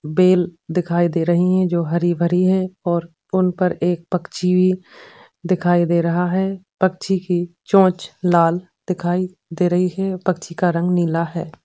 Bell दिखाई दे रही है जो हरी-भरी और उन पर एक पक्षी भी दिखाई दे रहा हैं। पक्षी की चोंच लाल दिखाई दे रही है पक्षी का राग नीला है।